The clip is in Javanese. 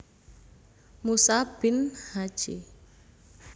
Musa Bin Hj